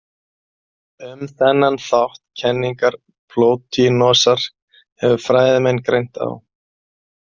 Um þennan þátt kenningar Plótinosar hefur fræðimenn greint á.